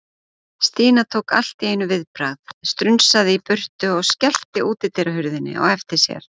Stína tók allt í einu viðbragð, strunsaði í burtu og skellti útidyrahurðinni á eftir sér.